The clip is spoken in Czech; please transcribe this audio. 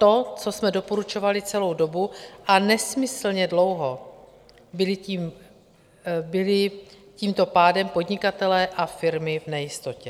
To, co jsme doporučovali celou dobu, a nesmyslně dlouho byli tímto pádem podnikatelé a firmy v nejistotě.